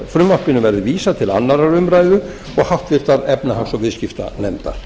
frumvarpinu verði vísað til annarrar umræðu og háttvirtrar efnahags og viðskiptanefndar